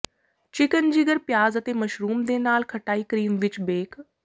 chicken ਜਿਗਰ ਪਿਆਜ਼ ਅਤੇ ਮਸ਼ਰੂਮ ਦੇ ਨਾਲ ਖਟਾਈ ਕਰੀਮ ਵਿੱਚ ਬੇਕ